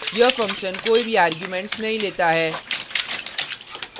यह फंक्शन कोई भी आर्गुमेंट्स नहीं लेता है